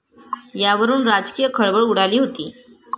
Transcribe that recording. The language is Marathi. यावरून राजकीय खळबळ उडाली होती.